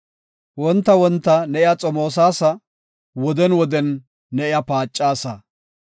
Wonta wonta ne iya xomoosasa; woden woden ne iya paacasa.